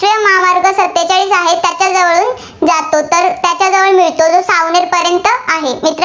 जातो. तर त्याचा तो सावनेरपर्यंत आहे.